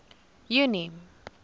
junie